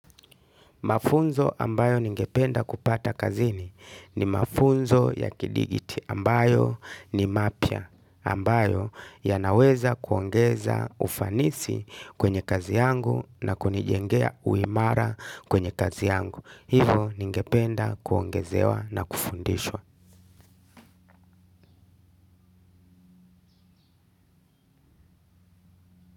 Mafunzo ambayo ningependa kupata kazini ni mafunzo ya kidigiti ambayo ni mapya ambayo ya naweza kuongeza ufanisi kwenye kazi yangu na kunijengea uimara kwenye kazi yangu. Hivo ningependa kuongezewa na kufundishwa.